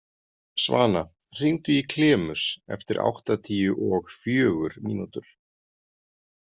Svana, hringdu í Klemus eftir áttatíu og fjögur mínútur.